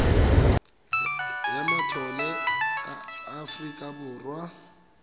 ya matlole ya aforika borwa